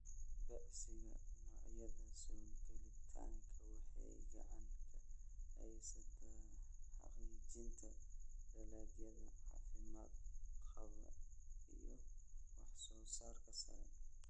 Beegsiga noocyada soo gelitaanka waxay gacan ka geysataa xaqiijinta dalagyada caafimaad qaba iyo wax-soo-saarka sare.